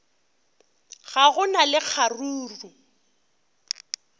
ga go na le kgaruru